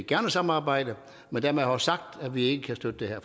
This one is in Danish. gerne samarbejde men dermed også sagt at vi ikke kan støtte det her